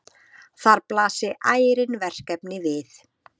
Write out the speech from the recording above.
Þar blasi ærin verkefni við.